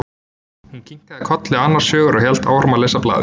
Hún kinkaði kolli annars hugar og hélt áfram að lesa blaðið.